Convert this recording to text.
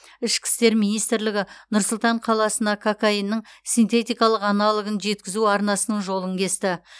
ішкі істер министрлігі нұр сұлтан қаласына кокаиннің синтетикалық аналогын жеткізу арнасының жолын кесті